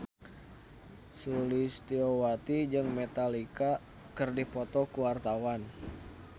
Sulistyowati jeung Metallica keur dipoto ku wartawan